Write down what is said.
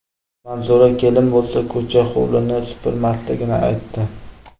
Manzura kelin bo‘lsa, ko‘cha-hovlini supurmasligini aytdi.